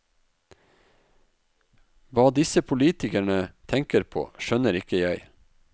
Hva disse politikerne tenker på, skjønner ikke jeg.